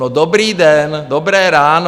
No, dobrý den, dobré ráno.